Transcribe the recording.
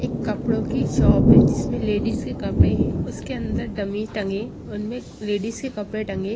एक कपड़ों की शॉप है जिसमें लेडीज के कपड़े हैं उसके अंदर डमी टंगे उनमें लेडीज के कपड़े टंगे।